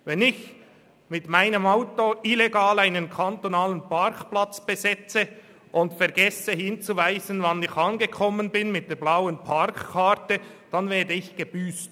Wenn ich mit meinem Auto illegal einen kantonalen Parkplatz besetze und vergesse, mit der blauen Parkkarte darauf hinzuweisen, wann ich angekommen bin, werde ich gebüsst.